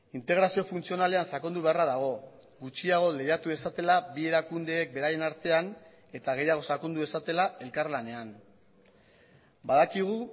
integrazio funtzionalean sakondu beharra dago gutxiago lehiatu dezatela bi erakundeek beraien artean eta gehiago sakondu dezatela elkarlanean badakigu